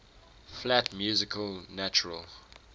flat music natural